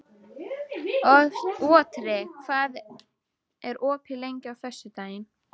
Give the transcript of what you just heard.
Otri, hvað er opið lengi á föstudaginn?